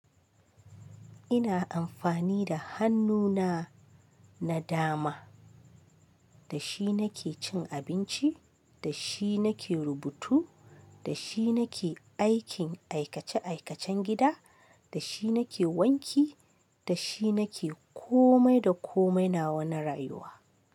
Ina amfani da hannuna na dama, da shi nake cin abinci, da shi nake rubutu, da shi nake aikin aikace aikacen gida, da shi nake wanki, da shi nake komai da komai nawa na rayuwa.